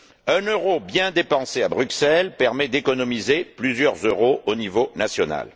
Un euro bien dépensé à Bruxelles permet d'économiser plusieurs euros au niveau national.